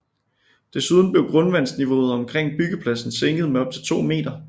Desuden blev grundvandsniveauet omkring byggepladsen sænket med op til 2 meter